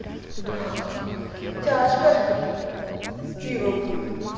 тяжко с пивом